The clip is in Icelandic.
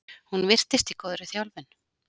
Hún virtist í góðri þjálfun.